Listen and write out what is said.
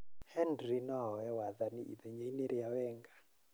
Henry nooe wathani ithenyainĩ rĩa Wenger